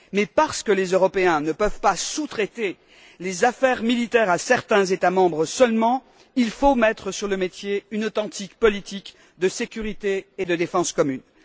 Mais parce que les Européens ne peuvent pas sous traiter les affaires militaires à certains États membres seulement, il faut mettre sur le métier une authentique politique de sécurité et de défense commune.